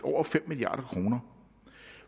over fem milliard kroner